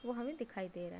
वो हमें दिखाई दे रहा --